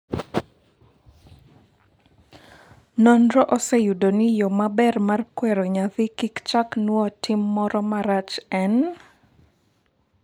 nonro oseyudo ni yoo maber mar kwero nyathi kik chak now tim moro marach en